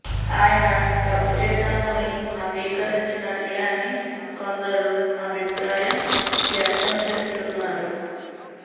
ఆయన తప్పు చేశానని అంగీకరించినట్లే అని కొందరు అభిప్రాయం వ్యక్తం చేస్తున్నారు